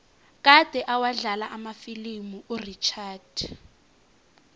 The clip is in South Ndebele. kade awadlala amafilimu urichard